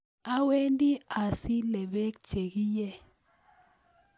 Awendi asile beek che kie